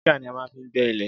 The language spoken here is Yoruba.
Jígà ní a má fin gbé ilè